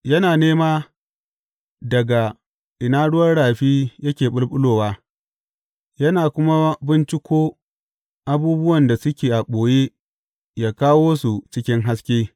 Yana nema daga ina ruwan rafi yake ɓulɓulowa yana kuma binciko abubuwan da suke a ɓoye yă kawo su cikin haske.